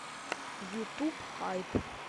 ютуб хайп